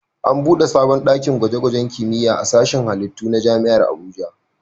An buɗe sabon ɗakin gwaje-gwajen kimiyya a sashin halittu na Jami'ar Abuja.